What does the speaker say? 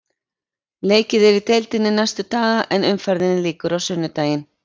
Leikið er í deildinni næstu daga en umferðinni lýkur á sunnudaginn.